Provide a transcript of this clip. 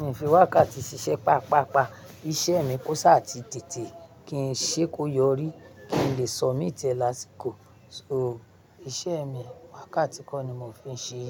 mi ò fi wákàtí ṣiṣẹ́ pàápàá. Iṣẹ́ mi kó ṣáà tí tètè kí n ṣe kó yọrí, kí n lè submit rẹ̀ lásìkò. So iṣẹ́ mi, wákàtí kan ni mo fi ń ṣe